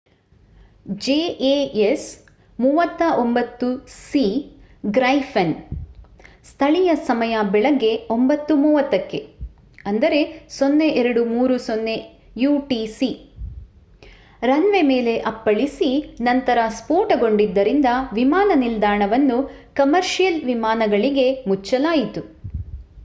jas 39c Gripen ಸ್ಥಳೀಯ ಸಮಯ ಬೆಳಿಗ್ಗೆ 9:30 ಕ್ಕೆ 0230 utc ರನ್ ವೇ ಮೇಲೆ ಅಪ್ಪಳಿಸಿ ನಂತರ ಸ್ಫೋಟಗೊಂಡಿದ್ದರಿಂದ ವಿಮಾನ ನಿಲ್ದಾಣವನ್ನು ಕಮರ್ಷಿಯಲ್ ವಿಮಾನಗಳಿಗೆ ಮುಚ್ಚಲಾಯಿತು